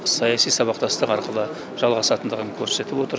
саяси сабақтастық арқылы жалғасатындығын көрсетіп отыр